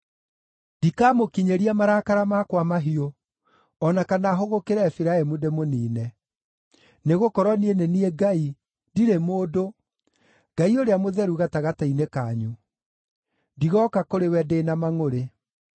Ndikamũkinyĩria marakara makwa mahiũ, o na kana hũgũkĩre Efiraimu ndĩmũniine. Nĩgũkorwo niĩ nĩ niĩ Ngai, ndirĩ mũndũ, Ngai Ũrĩa Mũtheru gatagatĩ-inĩ kanyu. Ndigooka kũrĩ we ndĩ na mangʼũrĩ.